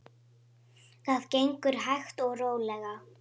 Það gengur hægt og rólega.